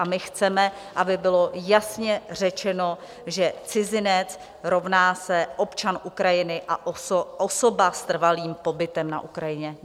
A my chceme, aby bylo jasně řečeno, že cizinec rovná se občan Ukrajiny a osoba s trvalým pobytem na Ukrajině.